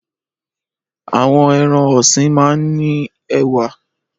Àwọn ẹran-ọ̀sìn máa ń ní ẹwà.